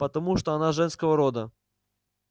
потому что она женского рода